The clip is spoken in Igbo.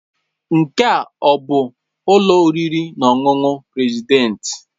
Nke a ọ bụ ụlọ oriri na ọṅụṅụ President?